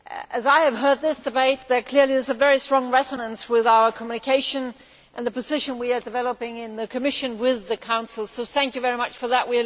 As I have heard this debate, there is clearly a very strong resonance with our Communication and the position we are developing in the Commission with the Council, so thank you for that.